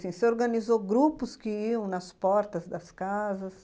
Você organizou grupos que iam nas portas das casas?